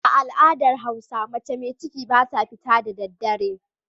A al'adar hausa mace mai ciki ba ta fita da daddare.